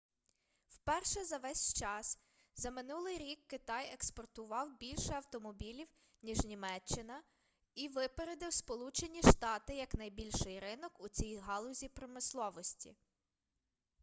вперше за весь час за минулий рік китай експортував більше автомобілів ніж німеччина і випередив сполучені штати як найбільший ринок у цій галузі промисловості